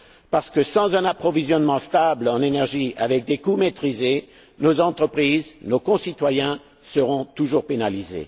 Parce que sans un approvisionnement stable en énergie avec des coûts maîtrisés, nos entreprises, nos concitoyens, seront toujours pénalisés.